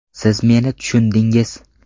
Siz meni tushundingiz.